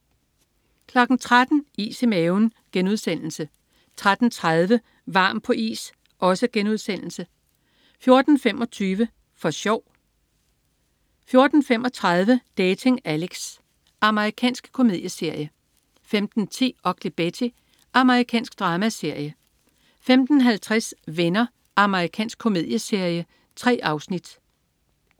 13.00 Is i maven* 13.30 Varm på is* 14.25 For sjov! 14.35 Dating Alex. Amerikansk komedieserie 15.10 Ugly Betty. Amerikansk dramaserie 15.50 Venner. Amerikansk komedieserie. 3 afsnit